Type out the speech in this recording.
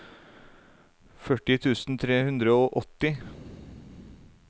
førti tusen tre hundre og åtti